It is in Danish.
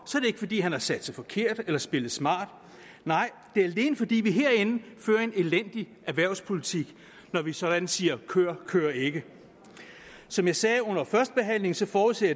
ikke fordi han har satset forkert eller spillet smart nej det er alene fordi vi herinde fører en elendig erhvervspolitik når vi sådan siger kør kør ikke som jeg sagde under førstebehandlingen så forudser